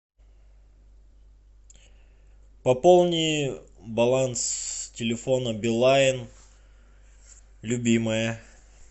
пополни баланс телефона билайн любимая